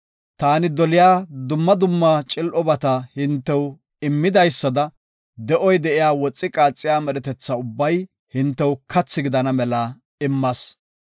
Taani doliya dumma dumma cil7obata hintew immidaysada, de7oy de7iya woxi qaaxiya medhetetha ubbay hintew kathi gidana mela immas.